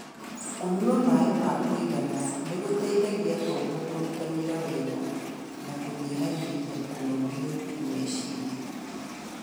Kũnyua maĩ ma kũigana nĩ gũteithagia tombo kũruta wĩra wega, na gũkanyihia kũnogio nĩ meciria.